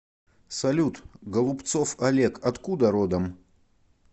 салют голубцов олег откуда родом